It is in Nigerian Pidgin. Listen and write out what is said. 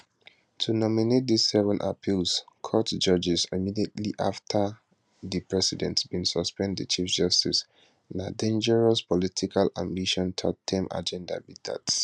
to nominate dis 7 appeals court judges immediately afta di president bin suspend di chief justice na dangerous political ambition thirdterm agenda be dat